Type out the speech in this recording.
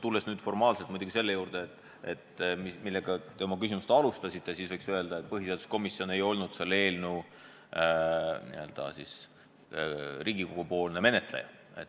Tulles aga tagasi selle juurde, millega te oma küsimust alustasite, siis võiks öelda, et põhiseaduskomisjon ei olnud selle eelnõu menetleja Riigikogus.